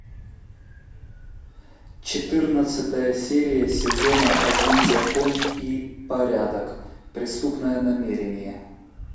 четырнадцатая серия сезона один закон и порядок преступное намерение